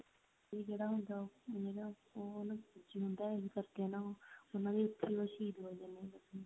ਤੇ ਜਿਹੜਾ ਮੁੰਡਾ ਹੁੰਦਾ ਉਹ ਉਹਨੂੰ ਇਹੀ ਕਰਕੇ ਨਾ ਉਹਨਾ ਨੂੰ ਇੱਕ